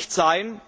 Es kann nicht sein,